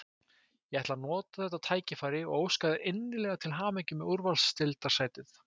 Ég ætla að nota þetta tækifæri og óska Þór innilega til hamingju með úrvalsdeildarsætið.